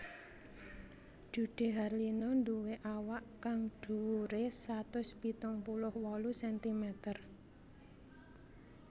Dude Harlino nduwé awak kang dhuwuré satus pitung puluh wolu sentimeter